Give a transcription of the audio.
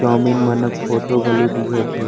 Chowmein माना photo घलो दिखत हे।